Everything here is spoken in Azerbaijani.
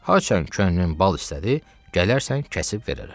Haçan könlün bal istədi, gələrsən kəsib verərəm.